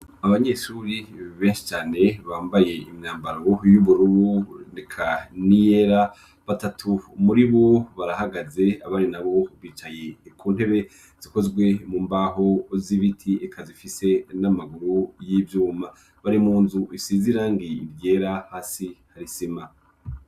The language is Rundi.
Abanyeshuri benshcane bambaye imyambaro y'uburubu neka niyera batatu umuri bo barahagaze abari na bo bicaye ku ntebe zikozwe mu mbaho z'ibiti eka zifise n'amaguru y'ivyuma bari mu nzu isi zirangiye iryera hasi harisima.